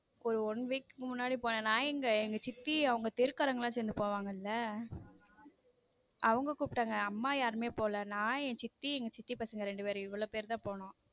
ஒரு one week முன்னாடி போனேன் நான் எங்க எங்க சித்தி அவங்க தெரு காரங்க எல்லாம் சேர்ந்து போவாங்கல அவங்க கூப்பிட்டாங்க அம்மா யாருமே போல நான் என் சித்தி என் சித்தியோட பசங்க இவ்வளவு பேர் தான் போனம்.